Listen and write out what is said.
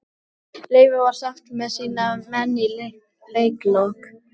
Leifur var sáttur með sína menn í leikslok.